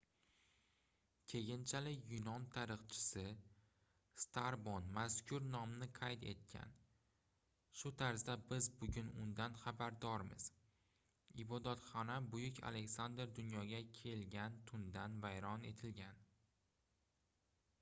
keyinchalik yunon tarixchisi strabon mazkur nomni qayd etgan shu tarzda biz bugun undan xabardormiz ibodatxona buyuk aleksandr dunyoga kelgan tunda vayron etilgan